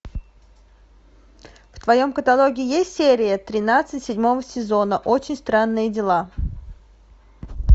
в твоем каталоге есть серия тринадцать седьмого сезона очень странные дела